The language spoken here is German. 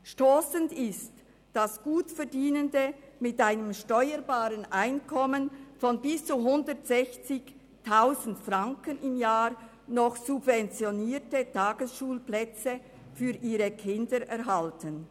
Stossend ist, dass Gutverdienende mit einem steuerbaren Einkommen von bis zu 160 000 Franken im Jahr noch subventionierte Tagesschulplätze für ihre Kinder erhalten.